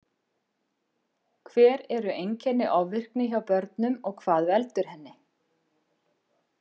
Hver eru einkenni ofvirkni hjá börnum og hvað veldur henni?